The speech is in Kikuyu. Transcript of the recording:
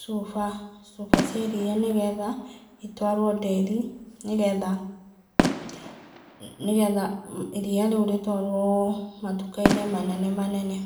cuba, cuba cia iria, nĩgetha rĩtwarwo ndĩri, nĩgetha iria rĩu rĩtwarwo matuka-inĩ manene manene.